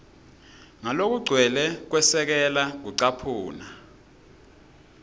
ngalokugcwele kwesekela kucaphuna